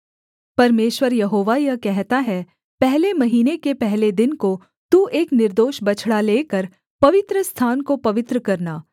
परमेश्वर यहोवा यह कहता है पहले महीने के पहले दिन को तू एक निर्दोष बछड़ा लेकर पवित्रस्थान को पवित्र करना